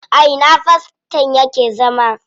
A ina faston yake zama?